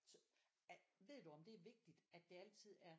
Ved du om det er vigtig at det altid er